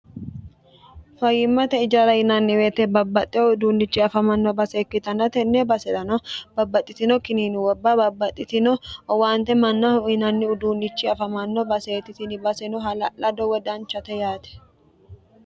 fayimmate ijara yinanniweete babbaxxe uduunnichi afamanno base ikkitanna tenne basenano babbaxxitino kinini gobba babbaxxitino owaante mannahu uyinanni uduunnichi afamanno baseeti tini baseno hala'lado woyi danchate yaate